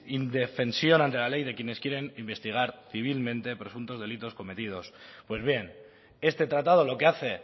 indefensión ante la ley de quienes quieren investigar civilmente por ejemplo delitos cometidos pues bien este tratado lo que hace